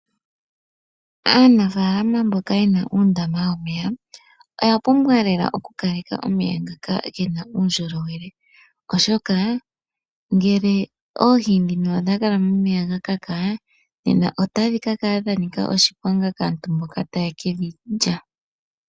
Aanafaalama mboka yena uundama womeya oya pumbwa lela oku kaleka lmeya ngaka gena uundjolowele oshoka oohi ngele odhakala momeya ga kaka otadhi kakala dha nika oshiponga kaantu mboka ta yekedhi lya.